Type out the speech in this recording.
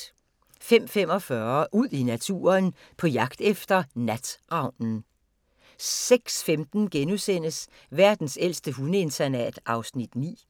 05:45: Ud i naturen: På jagt efter natravnen 06:15: Verdens ældste hundeinternat (Afs. 9)*